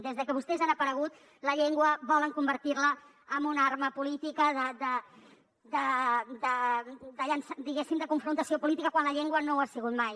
des que vostès han aparegut la llengua volen convertir la en una arma política de confrontació política quan la llengua no ho ha sigut mai